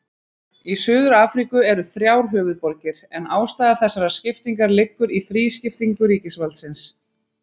Í Suður-Afríku eru þrjár höfuðborgir en ástæða þessarar skiptingar liggur í þrískiptingu ríkisvaldsins.